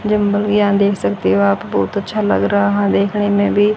Gym देख सकते हो आप बहुत अच्छा लग रहा है देखने में भी।